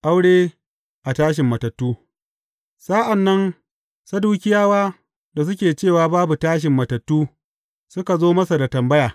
Aure a tashin matattu Sa’an nan Sadukiyawa da suke cewa, babu tashin matattu, suka zo masa da tambaya.